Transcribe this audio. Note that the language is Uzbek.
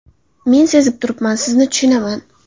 Men sezib turibman, sizni tushunaman.